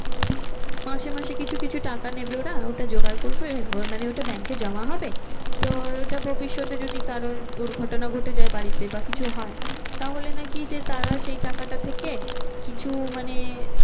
মাসে মাসে কিছু কিছু টাকা নেবে ওরা ওটা জোগাড় করবে ওরা মানে ওটা bank এ জমা হবে। তো ওটা ভবিষ্যতে যদি কারোর দুর্ঘটনা ঘটে যায় বাড়িতে বা কিছু হয়। তাহলে নাকি যে তারা সেই টাকাটা থেকে কিছু মানে